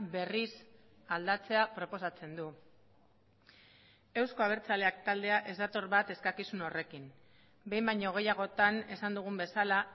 berriz aldatzea proposatzen du euzko abertzaleak taldea ez dator bat eskakizun horrekin behin baino gehiagotan esan dugun bezala